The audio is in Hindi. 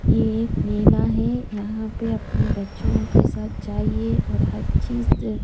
यह एक मेला है यहाँ पे अपने बच्चों के साथ जाइए और हर चीज़ दे --